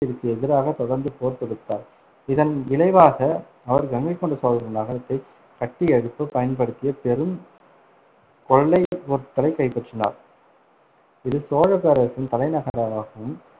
~ திற்கு எதிராக தொடர்ந்து போர் தொடுத்தார், இதன் விளைவாக அவர் கங்கைகொண்ட சோழபுரம் நகரத்தை கட்டியெழுப்பப் பயன்படுத்திய பெரும் கொள்ளைப் பொருட்களைக் கைப்பற்றினார், இது சோழப் பேரரசின் தலைநகர~ ராகவும்